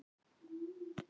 Friðrik nam staðar.